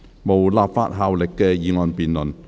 無立法效力的議案辯論。